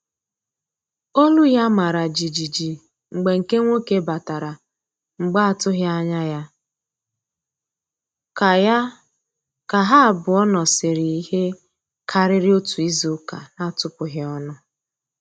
Olu ya mara jijiji mgbe nke nwoke batara mgbe atụghị anya ya, ka ya, ka ha abụọ nọsiri ihe karịrị otu izuụka na-atụpụghi ọnụ